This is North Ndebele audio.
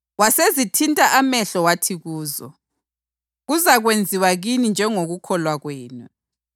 Wasezithinta amehlo wathi kuzo, “Kuzakwenziwa kini njengokukholwa kwenu”;